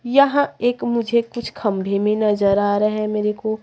यह एक मुझे कुछ खंभे में नजर आ रहे हैं मेरे को--